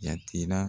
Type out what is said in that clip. Jate la